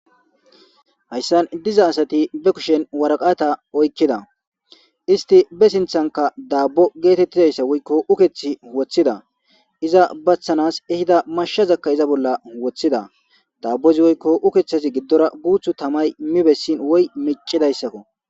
Haysan diza asati be kushen waraqata oykida ,ist be sinthanka dabbo getetizaysa woykon ukethi eothida iza baxanas ehida mashazaka iza bolla wothida, dabozika woyko ukethazi guuthu giddora tamay min meli besidaysa woyko micisaysako